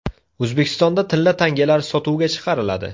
O‘zbekistonda tilla tangalar sotuvga chiqariladi.